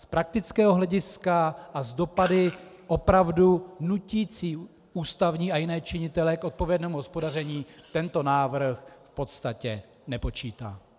Z praktického hlediska a s dopady opravdu nutícími ústavní a jiné činitele k odpovědnému hospodaření tento návrh v podstatě nepočítá.